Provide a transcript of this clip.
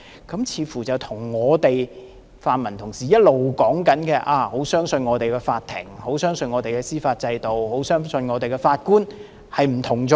這似乎跟泛民同事一直說很相信我們的法庭，很相信我們的司法制度，很相信我們的法官背道而馳。